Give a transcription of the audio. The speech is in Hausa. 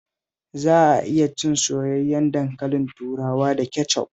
Za a iya cin soyayyen dankalin turawa da kecof